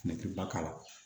Ne tɛ ba k'a la